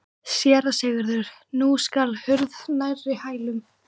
SÉRA SIGURÐUR: Nú skall hurð nærri hælum.